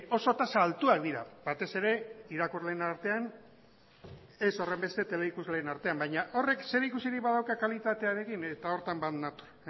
oso tasak altuak dira batez ere irakurleen artean ez horrenbeste teleikusleen artean baina horrek zerikusirik badauka kalitatearekin eta horretan bat nator